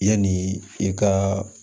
Yanni i ka